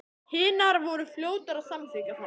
Hinar voru fljótar að samþykkja það.